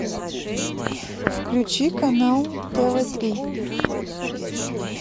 включи канал тв три